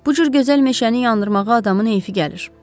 Bu cür gözəl meşəni yandırmağa adamın heyfi gəlir.